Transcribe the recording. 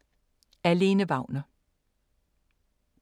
Af Lene Wagner